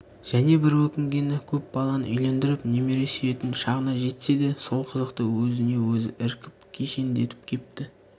және бір өкінгені көп баланы үйлендіріп немере сүйетін шағына жетсе де сол қызықты өзіне-өзі іркіп кешендетіп кепті